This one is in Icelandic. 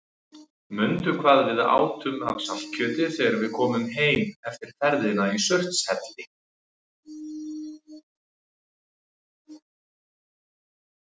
Mundu hvað við átum af saltkjöti þegar við komum heim eftir ferðina í Surtshelli.